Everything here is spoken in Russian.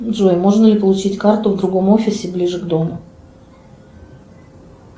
джой можно ли получить карту в другом офисе ближе к дому